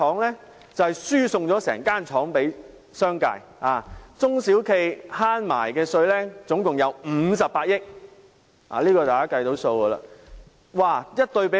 因為它輸送了整間工廠予商界，免卻了中小企共58億元的稅款。